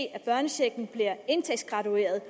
at børnechecken bliver indtægtsgradueret